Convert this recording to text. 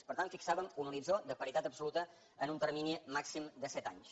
per tant fixàvem un horitzó de paritat absoluta en un termini màxim de set anys